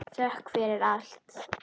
Þökk fyrir allt.